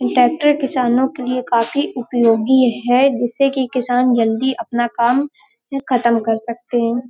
Tractor किसानों के लिए काफी उपयोगी है जिससे कि किसान जल्दी अपना काम ख़तम कर सकते हैं।